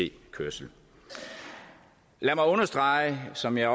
kørsel lad mig understrege som jeg